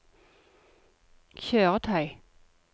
kjøretøy